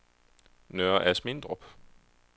Nørre Asmindrup